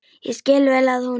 Ég skil vel að hún.